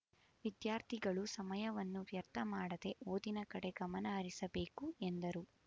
ವಿದ್ಯಾರ್ಥಿಗಳು ಸಮಯವನ್ನು ವ್ಯರ್ಥ ಮಾಡದೇ ಓದಿನ ಕಡೆ ಗಮನಹರಿಸಬೇಕು ಎಂದರು